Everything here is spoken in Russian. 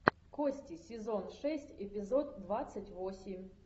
кости сезон шесть эпизод двадцать восемь